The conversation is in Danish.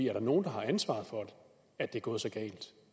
er der nogle der har ansvaret for at det er gået så galt